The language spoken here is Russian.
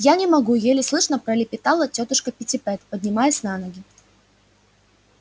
я не могу еле слышно пролепетала тётушка питтипэт поднимаясь на ноги